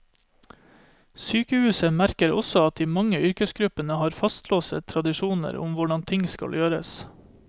Sykehuset merker også at de mange yrkesgruppene har fastlåste tradisjoner om hvordan ting skal gjøres.